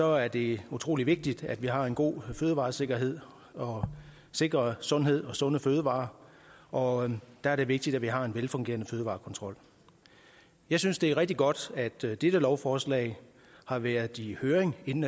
er det utrolig vigtigt at vi har en god fødevaresikkerhed og sikrer sundhed og sunde fødevarer og der er det vigtigt at vi har en velfungerende fødevarekontrol jeg synes det er rigtig godt at dette lovforslag har været i høring inden